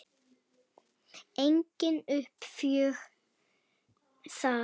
Engin uppgjöf þar.